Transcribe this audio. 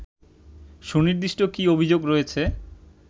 সুনির্দিষ্ট কী অভিযোগ রয়েছে